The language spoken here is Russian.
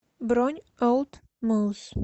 бронь олд моус